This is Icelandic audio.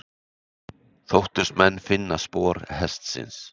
Þóttust menn finna spor hestsins.